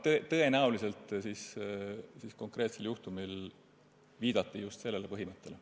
Tõenäoliselt viidati konkreetse juhtumi puhul just sellele põhimõttele.